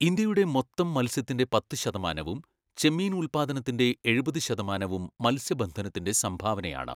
ഇന്ത്യയുടെ മൊത്തം മത്സ്യത്തിൻ്റെ പത്ത് ശതമാനവും ചെമ്മീൻ ഉൽപ്പാദനത്തിൻ്റെ എഴുപത് ശതമാനവും മത്സ്യബന്ധനത്തിൻ്റെ സംഭാവനയാണ്.